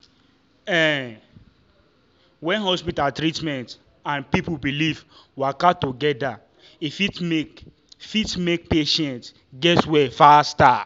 ehn when hospital treatment and people belief waka together e fit make fit make patient get well faster.